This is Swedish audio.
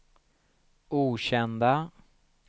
okända